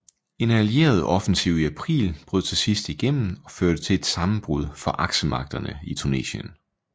En Allieret offensiv i april brød til sidst igennem og førte til et sammenbrud for Aksemagterne i Tunesien